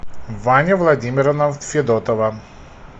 ваня владимировна федотова